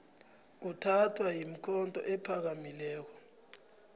uthathwa yikhotho ephakamileko